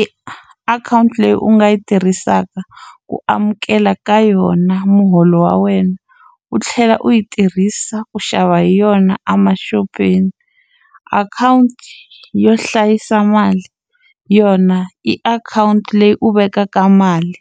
I akhawunti leyi u nga yi tirhisaka ku amukela ka yona muholo wa wena u tlhela u yi tirhisa ku xava hi yona emaxopeni akhawunti yo hlayisa mali yona i akhawunti leyi u vekaka mali